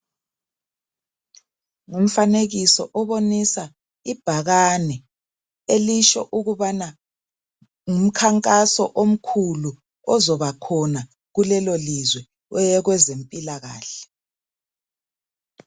Umfanekiso obonisa ibhakane elitsho ukubana ngumkhamnkaso omkhulu ozobakhona kulelolizwe owezempilakahle. .